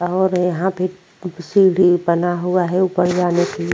और यहां पर सीढ़ी बना हुआ है ऊपर जाने के --